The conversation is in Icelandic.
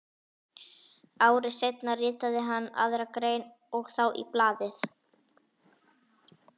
Ári seinna ritaði hann aðra grein og þá í blaðið